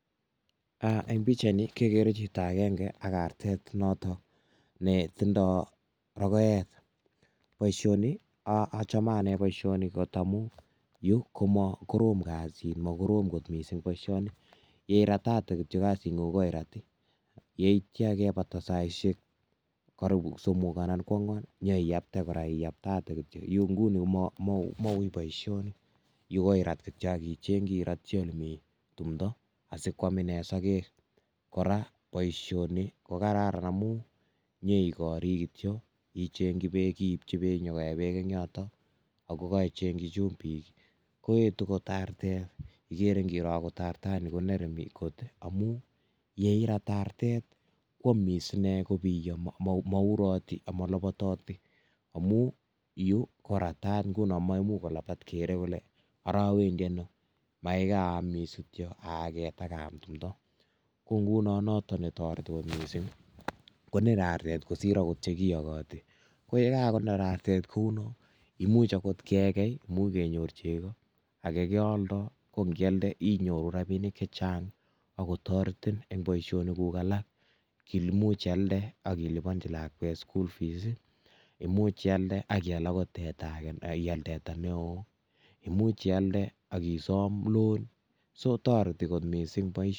eng' pichait ni kekere chito agenge ak artet noto ne tindai rogoet. boisioni achame ane got boisioni amu nito ni ko makorom kasit ye irat ko kasit ngung ko i rat yeitya yeibata saisiek karibu somok anan kwangwan iyapte kora ,iyaptate kityo.yu koirat icheng'i ole mi tumdo asikwm ine sagek. kora boisioni kokararan amu nyoigari kityo, icheng'i beek ,iipchi beek nyo koee eng yoto, ichengi chumbik koetu artet ..igere ngiroo angot artani konere kot amu yeirat artet kwamis ine kobiyo. maurati anan kolabatati amu yu koratat nguno maimuchi kolabatat kere kole ara awendi ano ye kaamis kityo, aaget ak kaam tumdo .ko nguno noto ne tareti artet agot missing' konere artet kosir che kiyogoti ko nguno anyun konere artet kouno. imuch agot kekei, kenyor chego age keolndoi ko ngealda kenyor rapinik chechang ak go taretin eng' boisionik kuk alak ,kele imuch ialnde akilibanji lakwet school fees imuch ialnde ak ial teta age ne gaigai neoo anan ialnde ak isam loan so toreti mising' boisioni